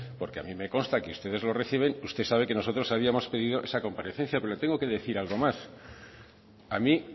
porque a mí me consta que ustedes lo reciben y usted sabe que nosotros habíamos pedido esa comparecencia pero le tengo que decir algo más a mí